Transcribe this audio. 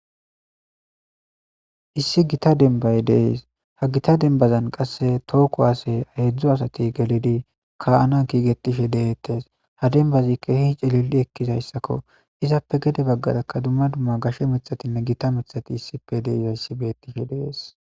issi gita denbaye dees ha gita denbazan qasse tooko aasey heedzdzu asati gelidi ka'ana kiigetishe deettes ha denbazi kehi cilili ekkizayssakko izappe gede baggatakka dumma dumma gashe mithatinne gita mithati issipe deizayssi beettishe dees